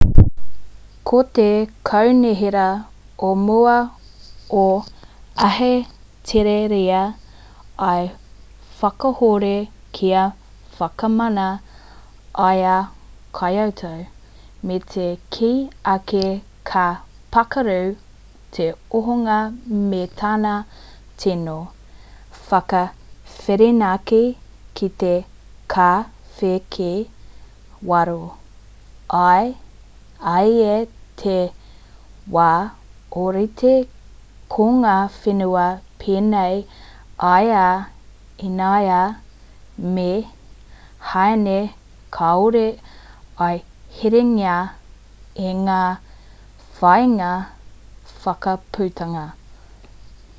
ko te kaunihera ō mua o ahitereiria i whakakahore kia whakamana i a kyoto me te kī ake ka pakaru te ohanga me tana tīno whakawhirinaki ki te kaweake waro ā i te wā orite ko ngā whenua penei i a inia me hāin kāore i herengia e ngā whāinga whakaputanga